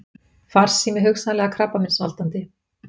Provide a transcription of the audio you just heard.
Farsími hugsanlega krabbameinsvaldandi